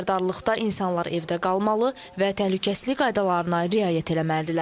Bu xəbərdarlıqda insanlar evdə qalmalı və təhlükəsizlik qaydalarına riayət eləməlidirlər.